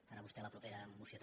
per a vostè la propera moció també